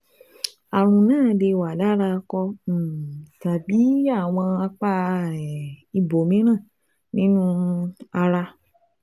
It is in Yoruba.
Ààrùn náà lè wà lára akọ um tàbí àwọn apá um ibòmíràn nínú um ara